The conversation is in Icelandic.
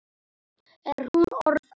Er hún orðin átta?